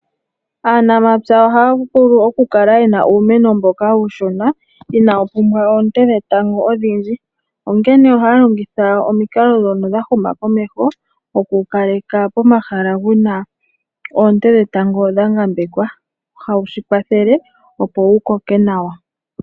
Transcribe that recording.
Aanamapya ohaya vulu oku kala yena uumeno mboka uushona inaa wu pumbwa oonte dhetango odhindji. Onkene ohaya longitha omikalo dhono dha huma komeho oku wu kaleka pomahala wuna oonte dhetango dha ngambekwa hawu shi kwathele opo wu koke nawa.